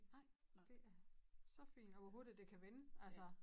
Nej det er så fint og hvor hurtigt det kan vende altså